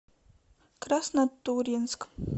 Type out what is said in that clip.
краснотурьинск